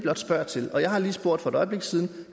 spørger til jeg har lige spurgt for et øjeblik siden